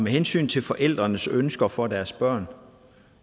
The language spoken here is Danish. hensyn til forældrenes ønsker for deres børn